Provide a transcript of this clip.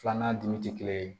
Filanan dun tɛ kelen ye